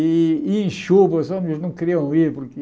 E e em chuva, os ônibus não queriam ir porque...